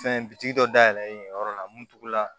Fɛn bitigi dɔ dayɛlɛ yen yɔrɔ la mun tugula